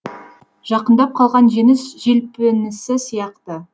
жақындап қалған жеңіс желпінісі сияқты